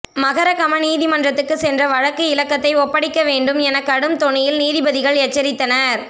மகரகம நீதிமன்றத்துக்கு சென்ற வழக்கு இலக்கத்தை ஒப்படைக்க வேண்டும் என கடும் தொனியில் நீதிபதிகள் எச்சரித்தனர்